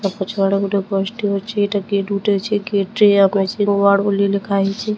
ଆଉ ପଛଆଡେ ଗୋଟେ ବସ୍ ଟେ ଅଛି ଏଇଟା ମେସିନ ୱାର୍ଡ ବୋଲି ଲେଖାହେଇଚି ।